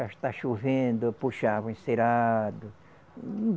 Está chovendo, eu puxava o encerado.